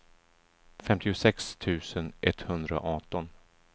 femtiosex tusen etthundraarton